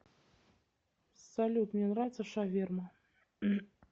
салют мне нравится шаверма